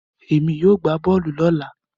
Èmi yóò gbá bọ́ọ̀lù lọ́la